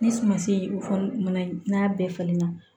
Ni suma si fɔli n'a bɛɛ falenna